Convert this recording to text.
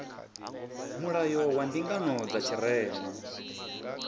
mulayo wa mbingano dza tshirema